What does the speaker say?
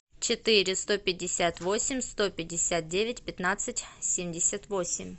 четыре сто пятьдесят восемь сто пятьдесят девять пятнадцать семьдесят восемь